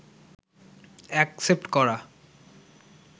accept করা